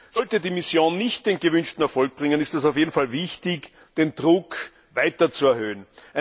Sollte die Mission nicht den gewünschten Erfolg bringen, ist es auf jeden Fall wichtig, den Druck weiter zu erhöhen.